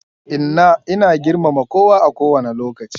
Inna ina girmama kowa a ko wanne lokaci.